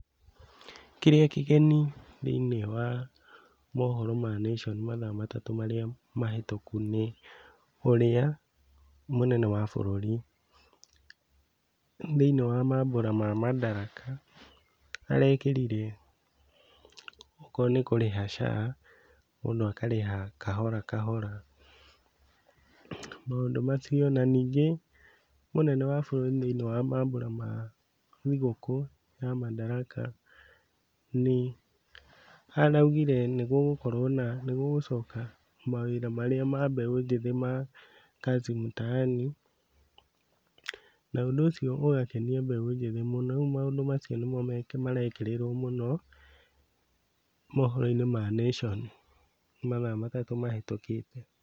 Kĩrĩa kĩgeni thĩiniĩ wa mohoro ma Nation mathaa matatũ marĩa mahĩtũku nĩ ũrĩa mũnene wa bũrũri, thĩiniĩ wa mambũra ma Madaraka arekĩrire okorwo nĩ kũrĩha SHA mũndũ akarĩha kahora kahora, maũndũ macio, na ningĩ mũnene wa bũrũri thĩinĩ wa mambũra ma thigũkũ ya Madaraka nĩaraugire nĩgũgũkorwo na nĩgũgũcoka mawĩra marĩa ma mbeũ njĩthĩ ma Kazi Mtaani na ũndũ ũcio ũgakenia mbeũ njĩthĩ mũno, rĩu maũndũ maio nĩmo marekĩrĩrwo mũno mohoro-inĩ ma Nation mathaa matatũ mahĩtũkĩte.